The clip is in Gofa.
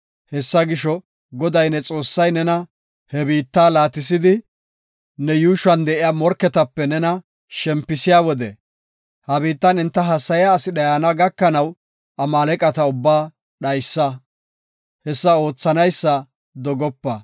Hessa gisho, Goday ne Xoossay nena he biitta laatisidi, ne yuushuwan de7iya morketape nena shempisiya wode ha biittan enta hassayiya asi dhayana gakanaw Amaaleqata ubbaa dhaysa; hessa oothanaysa dogopa.